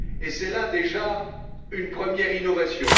C'est là, déjà, une première innovation.